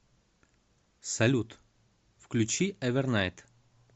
салют включи эвернайт